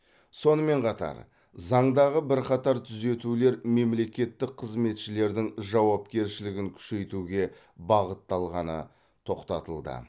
сонымен қатар заңдағы бірқатар түзетулер мемлекеттік қызметшілердің жауапкершілігін күшейтуге бағытталғаны тоқтатылды